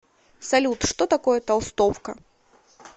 салют что такое толстовка